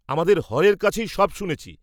আমাদের হরের কাছেই সব শুনেছি।